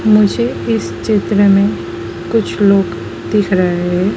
मुझे इस चित्र में कुछ लोग दिख रहे हैं।